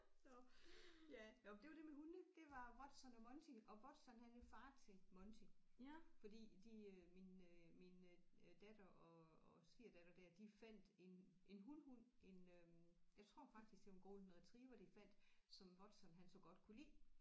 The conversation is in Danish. Nåh ja nåh men det var det med hundene det var Watson og Monty og Watson han er far til Monty fordi de øh min øh min øh øh datter og og svigersdatter der de fandt en en hunhund en øh jeg tror faktisk det var en golden retriever de fandt som Watson han så godt kunne lide